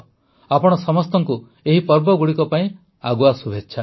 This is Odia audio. ଆପଣ ସମସ୍ତଙ୍କୁ ଏହି ପର୍ବଗୁଡ଼ିକ ପାଇଁ ଆଗୁଆ ଶୁଭେଚ୍ଛା